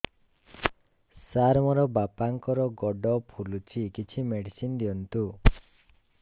ସାର ମୋର ବାପାଙ୍କର ଗୋଡ ଫୁଲୁଛି କିଛି ମେଡିସିନ ଦିଅନ୍ତୁ